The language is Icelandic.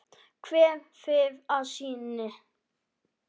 Kveð þig að sinni.